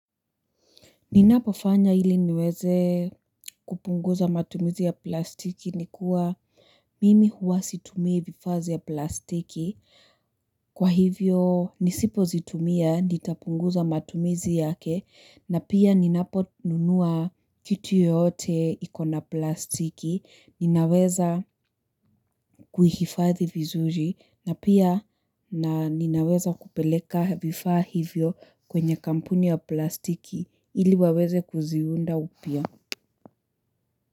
Ninapo fanya hili niweze kupunguza matumizi ya plastiki ni kuwa mimi huwa situmia vifaa vya plastiki. Kwa hivyo nisipozitumia nitapunguza matumizi yake na pia ninaponunua kitu yote ikona plastiki. Ninaweza kuhifathi vizuji na pia na ninaweza kupeleka vifaa hivyo kwenye kampuni ya plastiki. Ili waweze kuziunda upya.